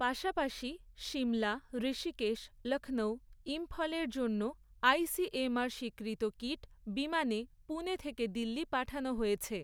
পাশাপাশি সিমলা, ঋষিকেশ, লক্ষৌ, ইম্ফলের জন্য আইসিএমআর স্বীকৃত কিট বিমানে পুণে থেকে দিল্লি পাঠানো হয়েছে।